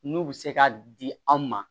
N'u bɛ se ka di anw ma